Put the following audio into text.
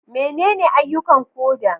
Menene ayyukan koda?